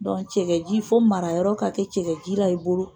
Dɔn cɛkɛji fo marayɔrɔ ka kɛ cɛkɛjira i bolo.